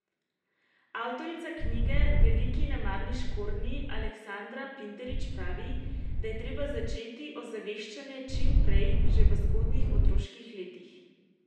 Avtorica knjige Veliki nemarni škornji Aleksandra Pinterič pravi, da je treba začeti ozaveščanje čim prej, že v zgodnjih otroških letih.